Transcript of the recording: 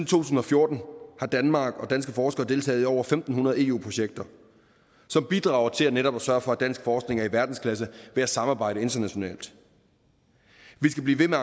tusind og fjorten har danmark og danske forskere deltaget i over fem hundrede eu projekter som bidrager til netop at sørge for at dansk forskning er i verdensklasse ved at samarbejde internationalt vi skal blive ved med